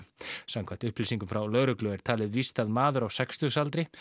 samkvæmt upplýsingum frá lögreglu er talið víst að maður á sextugsaldri